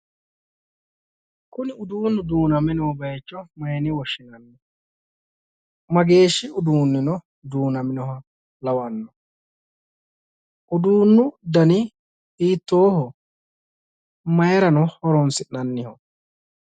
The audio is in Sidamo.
Kuni uduunnu duuname noo bayicho mayine woshshinanni ? Mageeshshi Uduunnino duunaminoha lawanno ? Uduunnu dani hiittooho? Mayirano horonsi'nanniho?